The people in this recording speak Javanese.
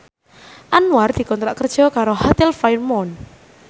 Anwar dikontrak kerja karo Hotel Fairmont